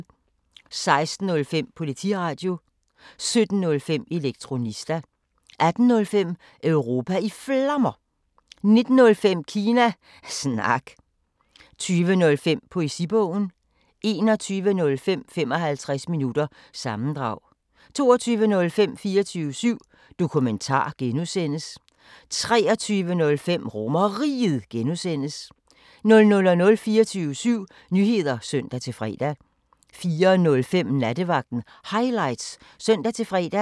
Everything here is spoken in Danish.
16:05: Politiradio 17:05: Elektronista 18:05: Europa i Flammer 19:05: Kina Snak 20:05: Poesibogen 21:05: 55 minutter – sammendrag 22:05: 24syv Dokumentar (G) 23:05: RomerRiget (G) 00:00: 24syv Nyheder (søn-fre) 04:05: Nattevagten Highlights (søn-fre)